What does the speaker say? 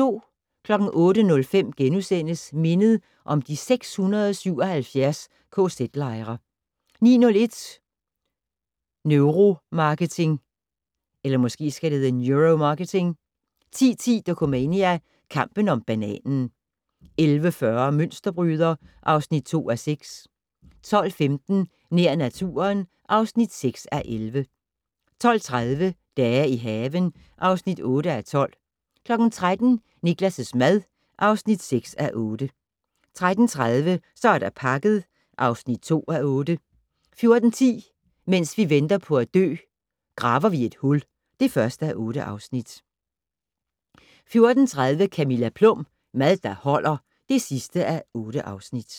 08:05: Mindet om de 677 kz-lejre * 09:01: Neuromarketing 10:10: Dokumania: Kampen om bananen 11:40: Mønsterbryder (2:6) 12:15: Nær naturen (6:11) 12:30: Dage i haven (8:12) 13:00: Niklas' mad (6:8) 13:30: Så er der pakket (2:8) 14:10: Mens vi venter på at dø - Graver vi et hul (1:8) 14:30: Camilla Plum - Mad der holder (8:8)